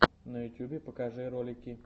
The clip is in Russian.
на ютьюбе покажи ролики